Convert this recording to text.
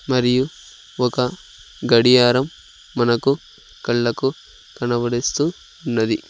మరియు ఒక గడియారం మనకు కళ్ళకు కనబడుస్తూ ఉన్నది.